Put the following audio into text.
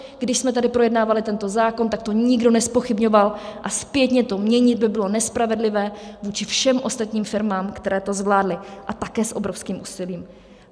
Když jsme tady projednávali tento zákon, tak to nikdo nezpochybňoval, a zpětně to měnit by bylo nespravedlivé vůči všem ostatním firmám, které to zvládly, a také s obrovským úsilím.